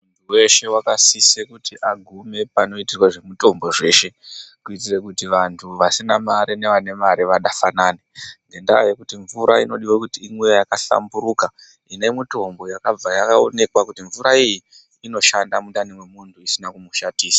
Muntu weshe wakasiswe wagume panoitwe zvemutombo kuitire kuti vane mari nevasine mari vadasangane ngendaa yekuti mvura inofana kuti imwiwe yakasamburuka ine mutombo yakabva yaonekwa kuti mvura iyi inoshanda mundani yemumhu musina kumushandisa.